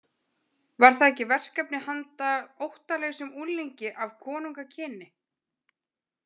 Var það ekki verkefni handa óttalausum unglingi af konungakyni?